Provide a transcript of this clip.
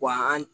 Wa an